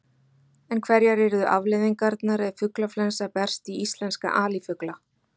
En hverjar yrðu afleiðingarnar ef fuglaflensa berst í íslenska alifugla?